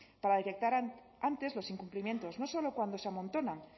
para detectar antes los incumplimientos no solo cuando se amontonan